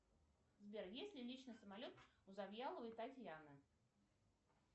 сбер есть ли личный самолет у завьяловой татьяны